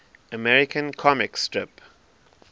american comic strip